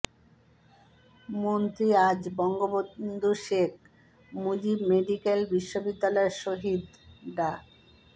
মন্ত্রী আজ বঙ্গবন্ধু শেখ মুজিব মেডিক্যাল বিশ্ববিদ্যালয়ের শহীদ ডা